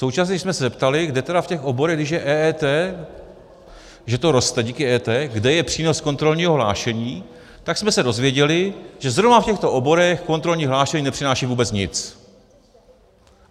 Současně jsme se zeptali, kde tedy v těch oborech, když je EET, že to roste díky EET, kde je přínos kontrolního hlášení, tak jsme se dozvěděli, že zrovna v těchto oborech kontrolní hlášení nepřináší vůbec nic.